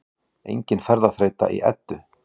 Engin ferðaþreyta í Eddu